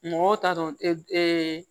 Mɔgɔw t'a dɔn